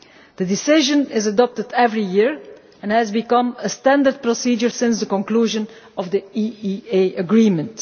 The decision is adopted every year and has become a standard procedure since the conclusion of the EEA Agreement.